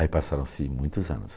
Aí passaram-se muitos anos.